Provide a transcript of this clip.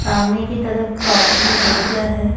सामने की तरफ पार्किंग एरिया है।